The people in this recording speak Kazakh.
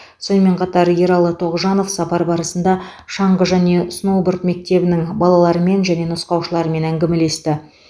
сонымен қатар ералы тоғжанов сапар барысында шаңғы және сноуборд мектебінің балаларымен және нұсқаушыларымен әңгімелесті